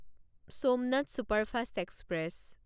Somnath superfast express